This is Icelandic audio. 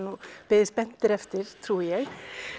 beðið spenntir eftir trúi ég